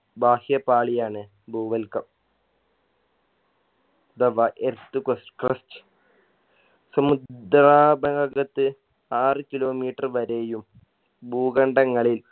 ബാഹ്യ പാളിയാണ് ഭൂവൽക്കം the earth crust സമുദ്രാ ആറ് kilometer വരെയും ഭൂഖണ്ഡങ്ങളിൽ